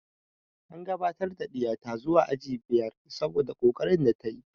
An gabatar da ɗiya ta zuwa aji biyar saboda ƙoƙarin da ta yi